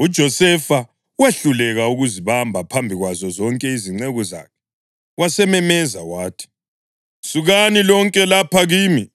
UJosefa wehluleka ukuzibamba phambi kwazo zonke izinceku zakhe, wasememeza wathi, “Sukani lonke lapha kimi!”